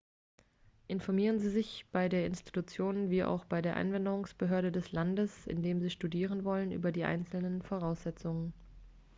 informieren sie sich bei der institution wie auch bei der einwanderungsbehörde des landes in dem sie studieren wollen über die einzelnen voraussetzungen